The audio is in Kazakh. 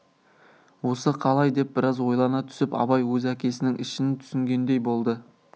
осы қалай деп біраз ойлана түсіп абай өз әкесінің ішін түсінгендей болды